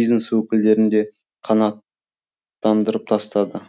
бизнес өкілдерін де қанаттандырып тастады